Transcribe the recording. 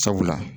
Sabula